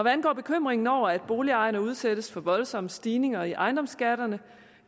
angår bekymringen over at boligejerne udsættes for voldsomme stigninger i ejendomsskatterne